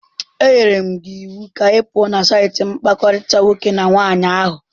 Enyere m gị iwu ka ị pụọ na saịtị mkpakọrịta nwoke na nwaanyị ahụ.